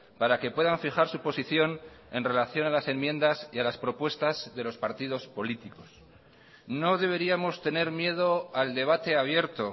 para que puedan fijar su posición en relación a las enmiendas y a las propuestas de los partidos políticos no deberíamos tener miedo al debate abierto